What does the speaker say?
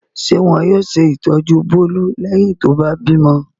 Ṣé wọn yóò ṣe ìtọ́jú Bólú lẹ́yìn tó bá bímọ?